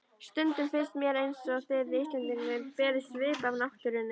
Stundum finnst mér einsog þið Íslendingar berið svip af náttúrunni.